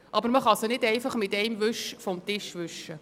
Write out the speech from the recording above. Aber man kann sie nicht einfach vom Tisch wischen.